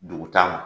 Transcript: Dugu taama